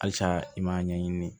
Halisa i m'a ɲɛɲini